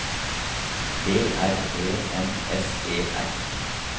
B R E M S E R